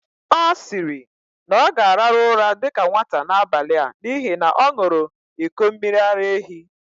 Ọ siri, na ọ gāraru ụra dika nwata n'abali a n'ihi na ọ ṅuru iko miri-ara-ehi